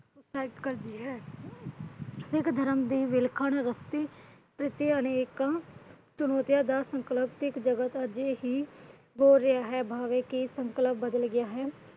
Help ਕਰਦੀ ਹੈ। ਸਿੱਖ ਧਰਮ ਦੀ ਵਿਲੱਖਣ ਭਾਵੇ ਕੀ ਸੰਕਲਪ ਬਦਲ ਗਿਆ ਹੈ।